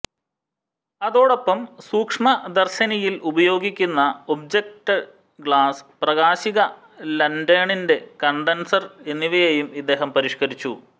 അതോടൊപ്പം സൂക്ഷ്മദർശിനിയിൽ ഉപയോഗിക്കുന്ന ഓബ്ജക്റ്റ് ഗ്ലാസ്സ് പ്രാകാശിക ലാന്റേണിലെ കണ്ടൻസെർ എന്നിവയേയും ഇദ്ദേഹം പരിഷ്ക്കരിച്ചു